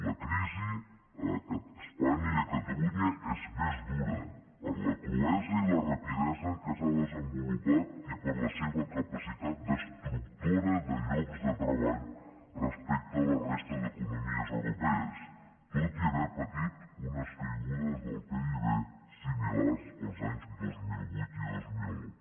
la crisi a espanya i a catalunya és més dura per la cruesa i la rapidesa amb què s’ha desenvolupat i per la seva capacitat destructora de llocs de treball respecte a la de la resta d’economies europees tot i haver patit unes caigudes del pib similars els anys dos mil vuit i dos mil nou